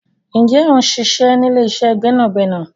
Ǹjẹ́ o ń ṣiṣẹ́ ní ilé-iṣẹ́ gbẹ́nàgbẹ́nà?